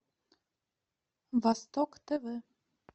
восток тв